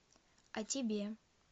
а тебе